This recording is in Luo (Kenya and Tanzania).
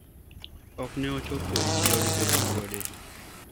ok ne ochopo e chiro nikech wuode